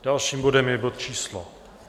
Dalším bodem je bod číslo